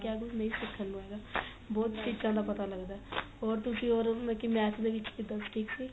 ਕਿਆ ਕੁੱਝ ਨਹੀਂ ਸਿਖਣ ਨੂ ਹੈਗਾ ਬਹੁਤ ਚੀਜ਼ਾ ਦਾ ਪਤਾ ਲੱਗਦਾ ਹੋਰ ਤੁਸੀਂ ਹੋਰ ਕੀ math ਦੇ ਵਿੱਚ ਕਿੱਦਾ ਠੀਕ ਸੀ